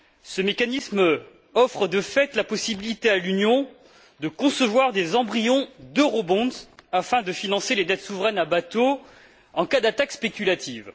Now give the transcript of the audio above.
Ce mécanisme offre de fait la possibilité à l'Union de concevoir des embryons d'eurobonds afin de financer les dettes souveraines à bas taux en cas d'attaques spéculatives.